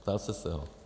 Ptal jste se ho?